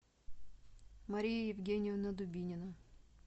мария евгеньевна дубинина